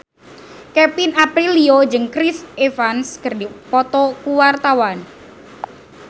Kevin Aprilio jeung Chris Evans keur dipoto ku wartawan